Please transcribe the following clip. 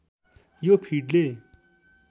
यो फिडले